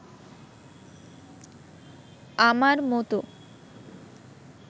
আমার মতো